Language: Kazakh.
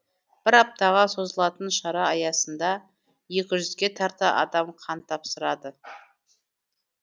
бір аптаға созылатын шара аясында екі жүзге тарта адам қан тапсырады